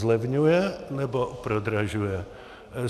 Zlevňuje, nebo prodražuje?